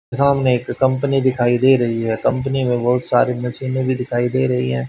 सामने एक कंपनी दिखाई दे रही है कंपनी में बहुत सारी मशीनें भी दिखाई दे रही है।